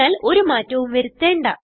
അതിനാൽ ഒരു മാറ്റവും വരുത്തേണ്ട